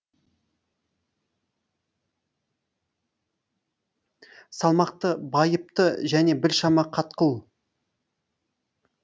салмақты байыпты және біршама қатқыл